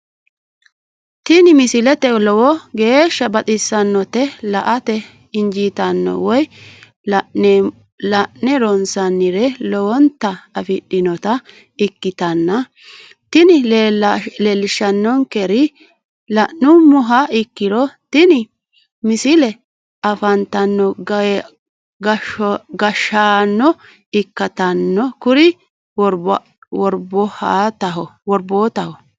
tini misile lowo geeshsha baxissannote la"ate injiitanno woy la'ne ronsannire lowote afidhinota ikkitanna tini leellishshannonkeri la'nummoha ikkiro tini misile afantino gashshaano ikkitanna kuri worbootaho.